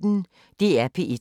DR P1